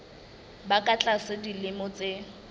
ba ka tlasa dilemo tse